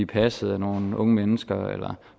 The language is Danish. passet af nogle unge mennesker eller